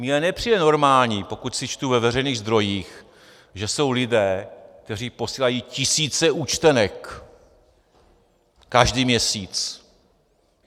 Mně nepřijde normální, pokud si čtu ve veřejných zdrojích, že jsou lidé, kteří posílají tisíce účtenek každý měsíc.